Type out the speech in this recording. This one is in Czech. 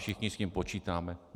Všichni s tím počítáme.